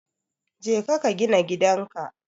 Jeka ka gina gidan ka.